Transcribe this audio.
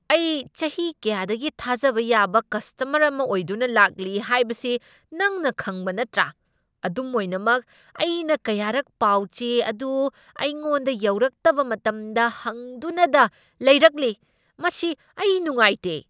ꯑꯩ ꯆꯍꯤ ꯀꯌꯥꯗꯒꯤ ꯊꯥꯖꯕ ꯌꯥꯕ ꯀꯁꯇꯃꯔ ꯑꯃ ꯑꯣꯏꯗꯨꯅ ꯂꯥꯛꯂꯤ ꯍꯥꯏꯕꯁꯤ ꯅꯪꯅ ꯈꯪꯕ ꯅꯠꯇ꯭ꯔꯥ, ꯑꯗꯨꯝ ꯑꯣꯏꯅꯃꯛ ꯑꯩꯅ ꯀꯌꯥꯔꯛ ꯄꯥꯎꯆꯦ ꯑꯗꯨ ꯑꯩꯉꯣꯟꯗ ꯌꯧꯔꯛꯇꯕ ꯃꯇꯝꯗ ꯍꯪꯗꯨꯅꯗ ꯂꯩꯔꯛꯂꯤ꯫ ꯃꯁꯤ ꯑꯩ ꯅꯨꯡꯉꯥꯏꯇꯦ꯫